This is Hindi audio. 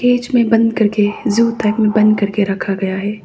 केज में बंद करके जू तक में बंद करके रखा गया है।